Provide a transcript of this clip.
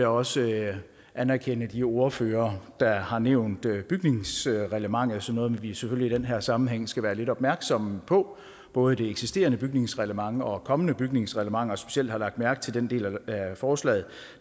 også anerkende de ordførere der har nævnt bygningsreglementet som noget vi selvfølgelig i den her sammenhæng skal være lidt opmærksomme på både det eksisterende bygningsreglement og kommende bygningsreglementer specielt har jeg lagt mærke til den del af forslaget